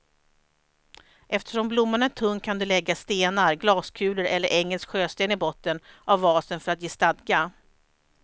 Eftersom blomman är tung kan du lägga stenar, glaskulor eller engelsk sjösten i botten av vasen för att ge stadga.